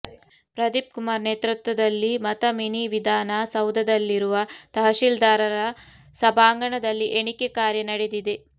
ಪ್ರದೀಪ್ ಕುಮಾರ್ ನೇತೃತ್ವದಲ್ಲಿ ಮತ ಮಿನಿ ವಿಧಾನ ಸೌಧದಲ್ಲಿರುವ ತಹಶಿಲ್ದಾರರ ಸಭಾಂಗಣದಲ್ಲಿ ಎಣಿಕೆ ಕಾರ್ಯ ನಡೆದಿದೆ